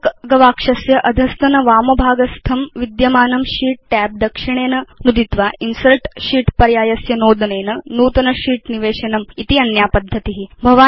काल्क गवाक्षस्य अधस्तनवामभागस्थं विद्यमानं शीत् tab दक्षिणेन नुदित्वा इन्सर्ट् शीत् पर्यायस्य नोदनेन नूतन शीत् निवेशनम् इति अन्या पद्धति